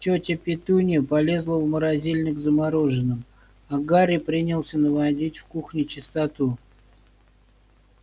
тётя петунья полезла в морозильник за мороженым а гарри принялся наводить в кухне чистоту